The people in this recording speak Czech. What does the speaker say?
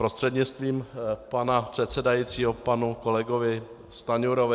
Prostřednictvím pana předsedajícího panu kolegovi Stanjurovi.